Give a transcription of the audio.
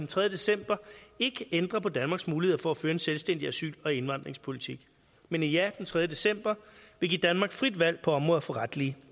tredje december ikke ændrer på danmarks muligheder for at føre en selvstændig asyl og indvandringspolitik men et ja den tredje december vil give danmark frit valg på området for retlige